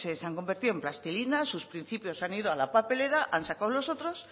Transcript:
pues se han convertido en plastilina sus principios han ido a la papelera han sacado los otros